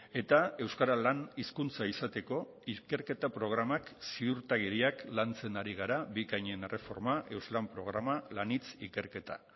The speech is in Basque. eta euskara lan hizkuntza izateko ikerketa programak ziurtagiriak lantzen ari gara bikainen erreforma euslan programa lanhitz ikerketa